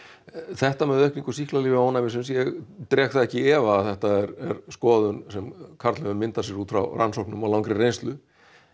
þetta með aukningu sýklalyfjaónæmisins ég dreg það ekki í efa að þetta er skoðun sem Karl hefur myndað sér út frá rannsóknum og langri reynslu